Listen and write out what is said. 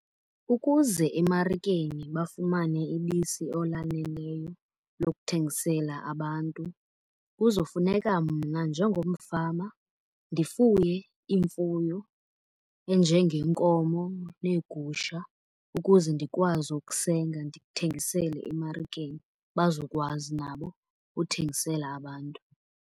Ukuze emarikeni bafumane ibisi olaneleyo lokuthengisela abantu kuzofuneka mna njengomfama ndifuye imfuyo enjengenkomo neegusha, ukuze ndikwazi ukusenga ndithengisele emarikeni bazokwazi nabo ukuthengisela abantu.